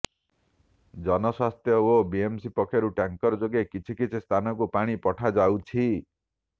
ଜନସ୍ବାସ୍ଥ୍ୟ ଓ ବିଏମ୍ସି ପକ୍ଷରୁ ଟ୍ୟାଙ୍କର୍ ଯୋଗେ କିଛି କିଛି ସ୍ଥାନକୁ ପାଣି ପଠାଯାଉଛି